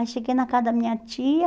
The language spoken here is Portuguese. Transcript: Aí cheguei na casa da minha tia,